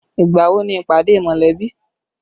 Ìgbà wo ni ìpàdé mọ̀lẹ́bí?